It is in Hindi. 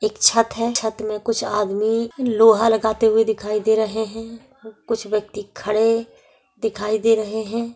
एक छत है छत में कुछ आदमी लोहा लगाते हुए दिखाई दे रहे हैं कुछ व्यक्ति खड़े दिखाई दे रहे हैं ।